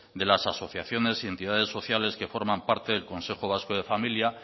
de las asociaciones y entidades sociales que forman parte del consejo vasco de familia